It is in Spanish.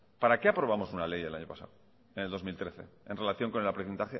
para qué aprobamos una ley el año pasado en el dos mil trece en relación con el